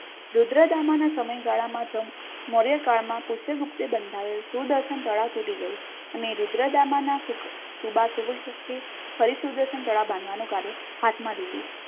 રુદ્રદામાના સમયગાળામાં મૌર્ય કાળમાં કૃષ્ણ પક્ષી બંધાવેલ સુદર્શન તળાવ તૂટી ગયું અને રુદ્રદામાના સુખ સુબુલ શક્તિ ફરી સુદર્શન તળાવ બાંધવાનું કામ હાથમાં લીધું